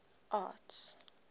arts